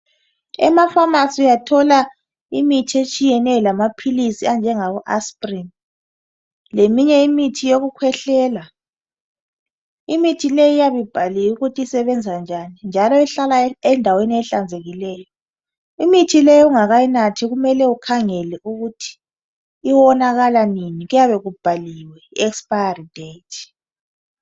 Ema pharmacy uyathola imithi kanye lamaphilisi atshiyeneyo lama asprin leminye imithi yokukhwehlela. Imithi leyi iyabe ibhaliwe ukuthi isebenza njani njalo ihlala ehlanzekileyo. Iithi le ungakungakayinathi kumele ukhangele ukuthi iwonakala nini kuyabe kubhaliwe I expiry date.